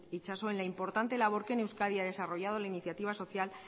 itxaso en la importante labor que en euskadi ha desarrollado la iniciativa social